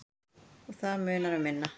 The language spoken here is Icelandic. Og það munar um minna.